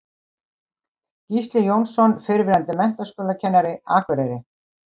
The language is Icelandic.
Gísli Jónsson, fyrrverandi menntaskólakennari, Akureyri